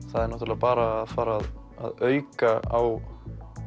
það er náttúrulega bara að fara að auka á